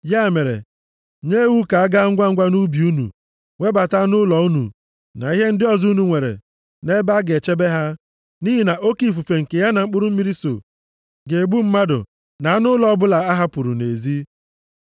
Ya mere, nye iwu ka a gaa ngwangwa nʼubi unu webata anụ ụlọ unu na ihe ndị ọzọ unu nwere nʼebe a ga-echebe ha, nʼihi na oke ifufe nke ya na mkpụrụ mmiri so ga-egbu mmadụ na anụ ụlọ ọbụla a hapụrụ nʼezi.’ ”